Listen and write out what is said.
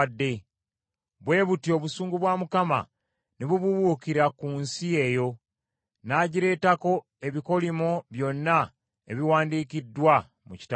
Bwe butyo obusungu bwa Mukama ne bubuubuukira ku nsi eyo, n’agireetako ebikolimo byonna ebiwandiikiddwa mu Kitabo kino.